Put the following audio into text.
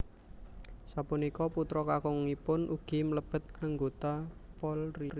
Sapunika putra kakungipun ugi mlebet anggota Polri